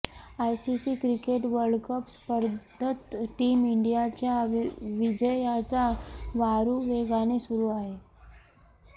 ICC cricket world cup स्पर्धेत team इंडियाच्या विजयाचा वारू वेगाने सुरू आहे